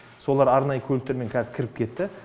солай арнай көліктермен қазір кіріп кетті